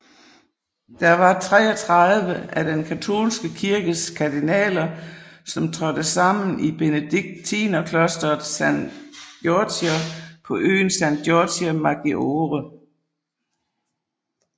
Der var 33 af Den katolske kirkes kardinaler som trådte sammen i benediktinerklosteret San Giorgio på øen San Giorgio Maggiore